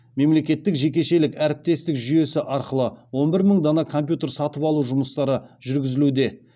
мемлекеттік жекешелік әріптестік жүйесі арқылы он бір мың дана компьютер сатып алу жұмыстары жүргізілуде